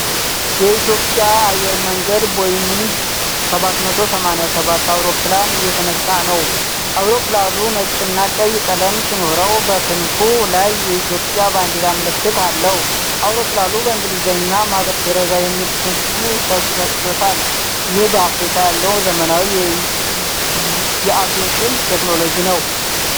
የኢትዮጵያ አየር መንገድ ቦይንግ 787 አውሮፕላን እየተነሳ ነው።። አውሮፕላኑ ነጭና ቀይ ቀለም ሲኖረው በክንፉ ላይ የኢትዮጵያ ባንዲራ ምልክት አለው። አውሮፕላኑ በእንግሊዝኛ "Mother Teresa" የሚል ስም ተሰጥቶታል። ይህም በአፍሪካ ያለውን ዘመናዊ የአቪዬሽን ቴክኖሎጂ ነው።